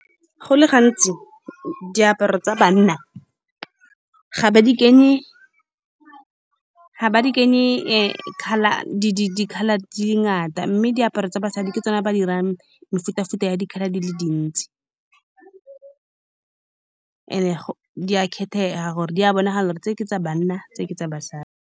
Go le gantsi, diaparo tsa banna ga ba di kenye, ga ba di kenye, colour. Di-di di-colour di ngata, mme diaparo tsa basadi ke tsone ba di dirang mefuta-futa ya di-colour di le dintsi, and-e di a khethega gore di a bonagala gore tse ke tsa banna, tse ke tsa basadi.